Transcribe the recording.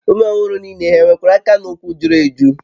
Ụmụ ọhụrụ niile e nwere aka na ụkwụ juru eju?